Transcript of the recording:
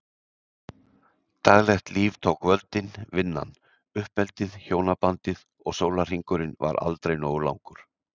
Daglegt líf tók völdin- vinnan, uppeldið, hjónabandið- og sólarhringurinn var aldrei nógu langur.